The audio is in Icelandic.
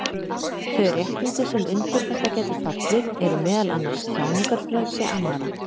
Þau réttindi sem undir þetta gætu fallið eru meðal annars tjáningarfrelsi annarra.